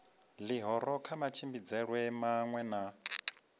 ḽihoro kha matshimbidzelwe maṅwe na